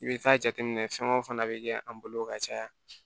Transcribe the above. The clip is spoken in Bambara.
I bɛ taa jateminɛ fɛn o fɛn fana bɛ kɛ an bolo ka caya